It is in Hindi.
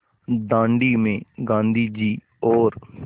दाँडी में गाँधी जी और